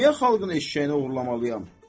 Mən niyə xalqın eşşəyini oğurlamalıyam?